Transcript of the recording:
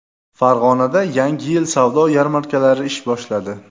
Farg‘onada Yangi yil savdo yarmarkalari ish boshladi.